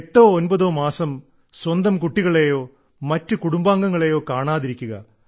എട്ടോ ഒൻപതോ മാസം സ്വന്തം കുട്ടികളെയോ മറ്റു കുടുംബാംഗങ്ങളെയോ കാണാതിരിക്കുക